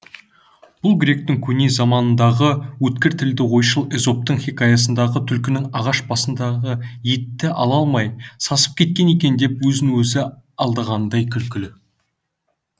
бұл гректің көне замандардағы өткір тілді ойшылы эзоптың хикаясындағы түлкінің ағаш басындағы етті ала алмай сасып кеткен екен деп өзін өзі алдағанындай күлкілі